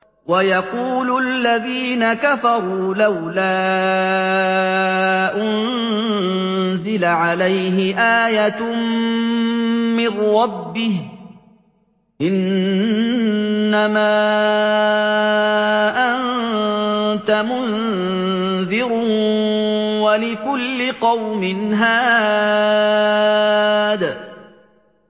وَيَقُولُ الَّذِينَ كَفَرُوا لَوْلَا أُنزِلَ عَلَيْهِ آيَةٌ مِّن رَّبِّهِ ۗ إِنَّمَا أَنتَ مُنذِرٌ ۖ وَلِكُلِّ قَوْمٍ هَادٍ